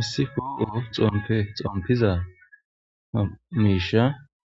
Issi poo xomppe xomppiza mishsha